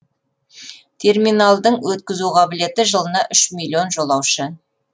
терминалдың өткізу қабілеті жылына үш миллион жолаушы